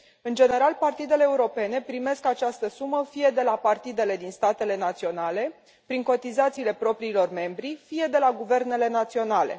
În general, partidele europene primesc această sumă fie de la partidele din statele naționale, prin cotizațiile propriilor membri, fie de la guvernele naționale.